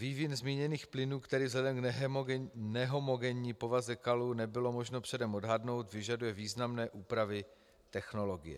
Vývin zmíněných plynů, který vzhledem k nehomogenní povaze kalů nebylo možno předem odhadnout, vyžaduje významné úpravy technologie.